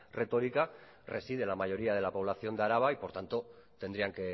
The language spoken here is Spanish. retórica reside la mayoría de la población de araba y por tanto tendrían